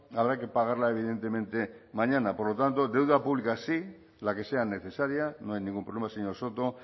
habrá que pagarla evidentemente mañana por lo tanto deuda pública sí la que sea necesaria no hay ningún problema señor soto